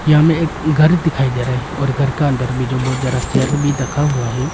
यहां में एक घर दिखाई दे रहा है और घर का अंदर भी बहोत ज्यादा चेयर भी रखा हुआ है।